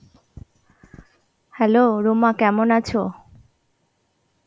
hello Ruma কেমন আছে৷?